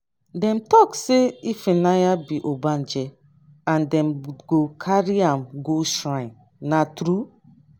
dem talk say ifunanya be ogbanje and dem go carry am go shrine na true?